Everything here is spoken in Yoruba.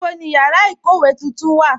Níbo ni yára ikówe tuntun wà?